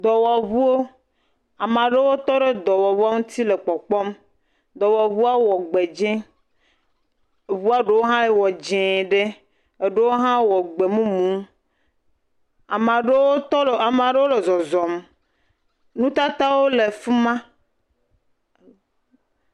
dɔwɔwʋuo amaɖewo tɔ ɖewo tɔɖe dɔwɔʋuo ŋtsi le kpɔkpɔm dɔwɔʋuɔ wɔ gbe dzĩ ʋua ɖewo hã wɔ dzē ɖe eɖewo hã wɔ gbemumu amaɖowo tɔɖe amaɖewo le zɔzɔm nutatawo le fima